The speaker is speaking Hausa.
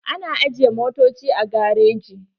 Ana ajiye motoci a gareji.